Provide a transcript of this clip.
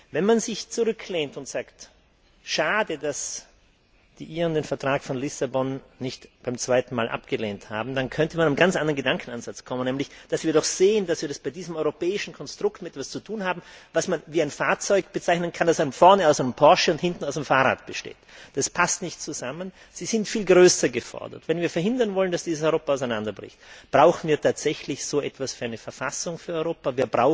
Wenn man sich zurücklehnt und sagt Schade, dass die Iren den Vertrag von Lissabon beim zweiten Mal nicht abgelehnt haben, dann könnte man zu einem ganz anderen Gedankenansatz kommen. Dann können wir nämlich sehen, dass wir es bei diesem europäischen Konstrukt mit etwas zu tun haben, das man mit einem Fahrzeug vergleichen könnte, das vorne aus einem Porsche und hinten aus einem Fahrrad besteht. Das passt nicht zusammen. Sie sind viel stärker gefordert! Wenn wir verhindern wollen, dass dieses Europa auseinanderbricht, brauchen wir tatsächlich so etwas wie eine Verfassung für Europa.